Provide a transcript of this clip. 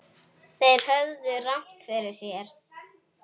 Þeir höfðu rangt fyrir sér.